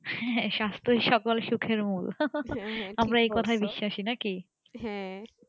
হ্যাঁ স্বাস্থই সকল সুখের মূল আমরা এই কোথায়ই বিশ্বাসী নাকি